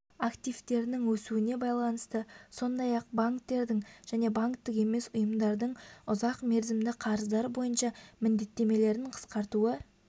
активтерінің өсуіне байланысты сондай-ақ банктердің және банктік емес ұйымдардың ұзақ мерзімді қарыздар бойынша міндеттемелерін қысқартуы